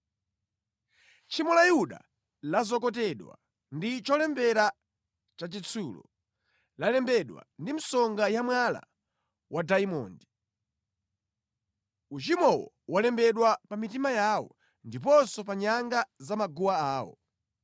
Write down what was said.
“Tchimo la Yuda lazokotedwa ndi cholembera cha chitsulo, lalembedwa ndi msonga ya mwala wadayimondi. Uchimowo walembedwa pa mitima yawo ndiponso pa nyanga za maguwa awo.